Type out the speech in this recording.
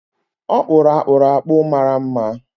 Ọ kpụrụ akpụrụ akpụ mara mma.